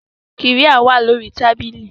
Qirya wà lórí tábìlì